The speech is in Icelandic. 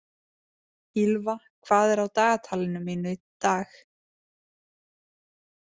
Ýlfa, hvað er á dagatalinu mínu í dag?